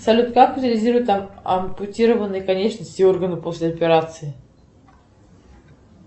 салют как утилизируют ампутированные конечности и органы после операции